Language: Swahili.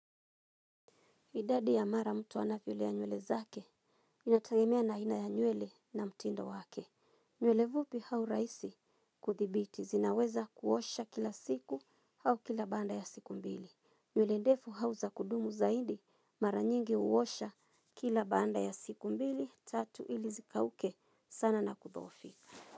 Idadi ya mara mtu anavyolea nywele zake inategemea na aina ya nywele na mtindo wake. Nywele fupi au rahisi kudhibiti, zinaweza kuosha kila siku au kila baada ya siku mbili. Nywele ndefu au za kudumu zaidi, mara nyingi huosha kila baada ya siku mbili, tatu ili zikauke sana na kudhoofika.